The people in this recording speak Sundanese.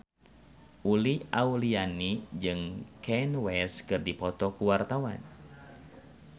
Uli Auliani jeung Kanye West keur dipoto ku wartawan